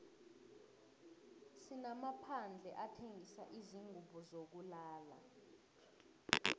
sinamaphandle athengisa izingubo zokulala